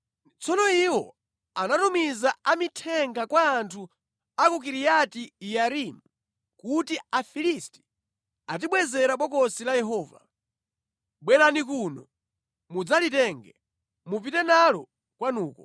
Tsono iwo anatumiza a mithenga kwa anthu a ku Kiriati-Yearimu kuti, “Afilisti atibwezera Bokosi la Yehova. Bwerani kuno mudzalitenge, mupite nalo kwanuko.”